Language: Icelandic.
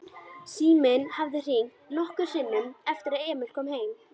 Síminn hafði hringt nokkrum sinnum eftir að Emil kom heim.